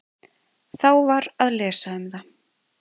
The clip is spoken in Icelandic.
Þá var að lesa um það.